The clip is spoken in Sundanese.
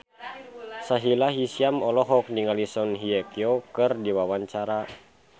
Sahila Hisyam olohok ningali Song Hye Kyo keur diwawancara